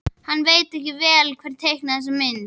Hann veit vel hver teiknaði þessa mynd.